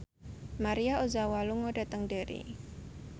Maria Ozawa lunga dhateng Derry